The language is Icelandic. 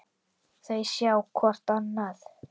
Þau sjá hvort annað.